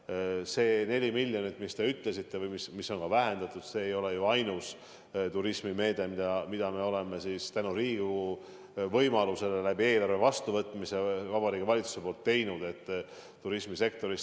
Aga see 4 miljonit, mida te nimetasite ja mida on vähendatud, ei ole ju ainus meede, mida me oleme tänu eelarve vastuvõtmisele Riigikogus tahtnud Vabariigi Valitsuses turismisektori huvides rakendada.